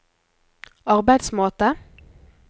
arbeidsmåte